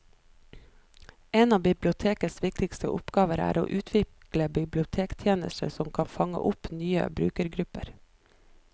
En av bibliotekets viktigste oppgaver er å utvikle bibliotekstjenester som kan fange opp nye brukergrupper.